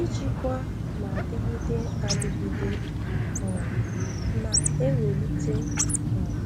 Ijikwa na-adịgide adịgide um na-ewulite um